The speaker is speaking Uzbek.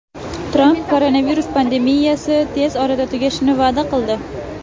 Tramp koronavirus pandemiyasi tez orada tugashini va’da qildi.